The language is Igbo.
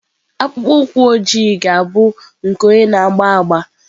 Akpụkpọ ụkwụ ojii ga-abụ nke onye na-agba agba.